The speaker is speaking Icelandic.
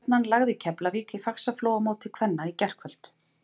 Stjarnan lagði Keflavík í Faxaflóamóti kvenna í gærkvöld.